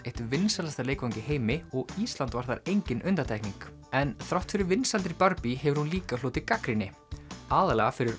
eitt vinsælasta leikfang í heimi og Ísland var þar engin undantekning en þrátt fyrir vinsældir hefur hún líka hlotið gagnrýni aðallega fyrir